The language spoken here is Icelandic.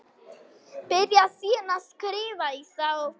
Byrjar síðan að skrifa í þá.